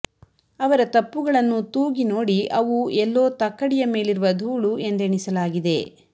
ಅವರ ತಪ್ಪುಗಳನ್ನು ತೂಗಿನೋಡಿ ಅವು ಎಲ್ಲೋ ತಕ್ಕಡಿಯ ಮೇಲಿರುವ ಧೂಳು ಎಂದೆಣಿಸಲಾಗಿದೆ